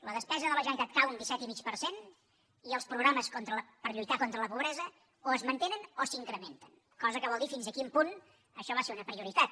la despesa de la generalitat cau un disset i mig per cent i els programes per lluitar contra la pobresa o es mantenen o s’incrementen cosa que vol dir fins a quin punt això va ser una prioritat